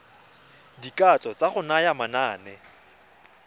dikatso tsa go naya manane